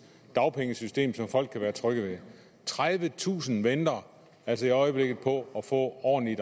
dagpengesystem som folk kan være trygge ved tredivetusind venter altså i øjeblikket på at få ordentlige